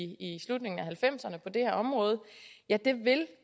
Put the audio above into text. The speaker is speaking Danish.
slutningen af nitten halvfemserne på det her område vil